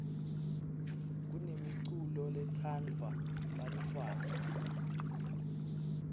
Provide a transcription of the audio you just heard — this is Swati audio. kunemiculo letsandvwa bantfwana